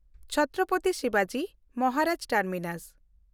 ᱪᱷᱛᱨᱚᱯᱚᱛᱤ ᱥᱤᱵᱟᱡᱤ ᱢᱚᱦᱟᱨᱟᱡᱽ ᱴᱟᱨᱢᱤᱱᱟᱥ